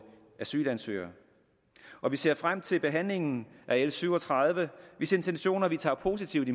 asylansøgere og vi ser frem til behandlingen af l syv og tredive hvis intentioner vi ser positivt